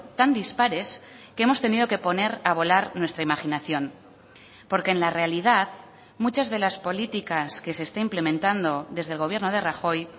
tan dispares que hemos tenido que poner a volar nuestra imaginación porque en la realidad muchas de las políticas que se está implementando desde el gobierno de rajoy